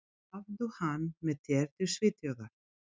Hafðu hann með þér til Svíþjóðar.